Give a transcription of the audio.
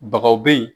Bagaw be yen